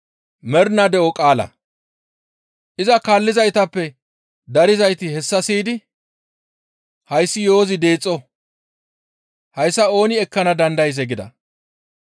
Iza kaallizaytappe darizayti hessa siyidi, «Hayssi yo7ozi deexo; hayssa ooni ekkana dandayzee?» gida.